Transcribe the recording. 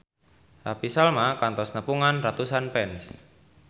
Happy Salma kantos nepungan ratusan fans